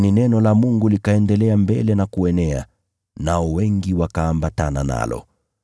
Lakini neno la Mungu likaendelea mbele na kuenea, nao wengi wakaambatana nalo.